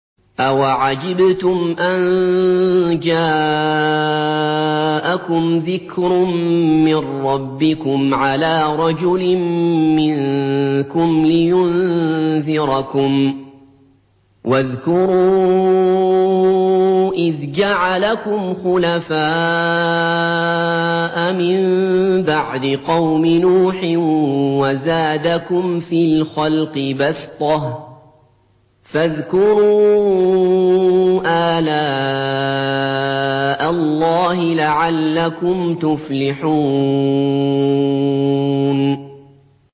أَوَعَجِبْتُمْ أَن جَاءَكُمْ ذِكْرٌ مِّن رَّبِّكُمْ عَلَىٰ رَجُلٍ مِّنكُمْ لِيُنذِرَكُمْ ۚ وَاذْكُرُوا إِذْ جَعَلَكُمْ خُلَفَاءَ مِن بَعْدِ قَوْمِ نُوحٍ وَزَادَكُمْ فِي الْخَلْقِ بَسْطَةً ۖ فَاذْكُرُوا آلَاءَ اللَّهِ لَعَلَّكُمْ تُفْلِحُونَ